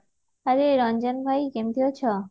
hye Ranjan ଭାଇ କେମତି ଅଛ